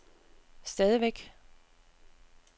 stadigvæk